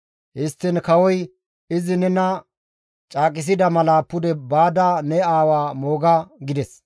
Histtiin kawoy, «Izi nena caaqisida mala pude baada ne aawa mooga» gides.